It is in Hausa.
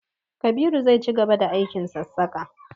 Kabiru zai cigaba da aikin sassaka.